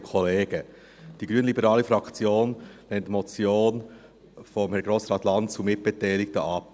Die Glp-Fraktion lehnt die Motion von Herrn Grossrat Lanz und Mitbeteiligten ab.